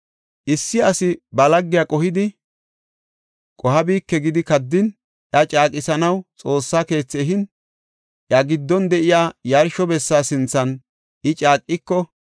“Issi asi ba laggiya qohidi, qohabike gidi kaddin, iya caaqisanaw Xoossa keethi ehin, iya giddon de7iya yarsho bessa sinthan I caaqiko,